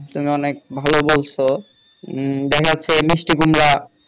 তুমি অনেক ভালো বলছো উম দেখা যাচ্ছে মিষ্টি কুমড়া